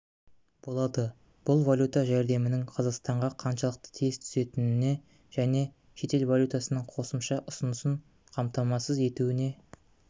болады бұл валюта жәрдемінің қазақстанға қаншалықты тез түсетініне және шетел валютасының қосымша ұсынысын қамтамасыз етуіне